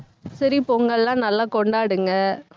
சரி, பொங்கல்லாம் நல்லா கொண்டாடுங்க